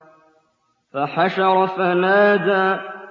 فَحَشَرَ فَنَادَىٰ